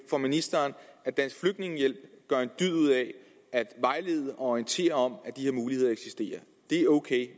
for ministeren at dansk flygtningehjælp gør en dyd ud af at vejlede og orientere om at de her muligheder eksisterer det er ok